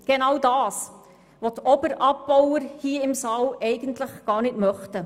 Das ist genau, was die «Oberabbauer» hier im Saal eigentlich gar nicht möchten.